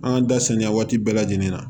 An da saniya waati bɛɛ lajɛlen na